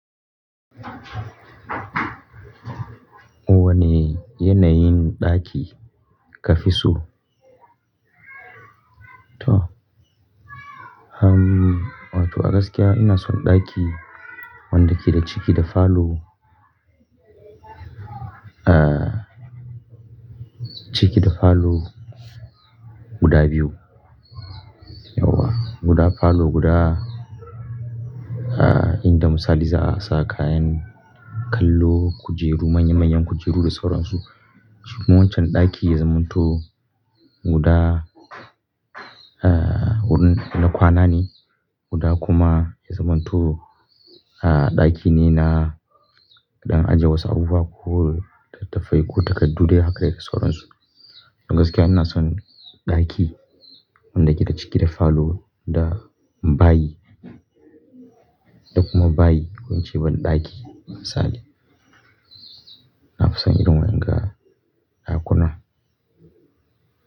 Wane yanayin ɗaki ka fi so? To, hmm, wato a gaskiya ina son ɗaki wanda ke da ciki da falo, ah, ciki da falo guda biyu. Yauwa, guda falo, guda, ah, inda misali za a sa kayan kallo, kujeru, manya-manyan kujeru da sauransu. Shikuma wancan ɗaki ya zamanto guda, ah, wurin na kwana ne, guda kuma ya zamanto, ah, ɗaki ne na dan ajiye wasu abubuwa ko littattafai ko takardu dai haka da dai sauransu. Don gaskiya ina son ɗaki wanda yake da ciki da falo da bayi da kuma bayi ko ince banɗaki misali. Na fi son irin wa'yanga ɗakunan.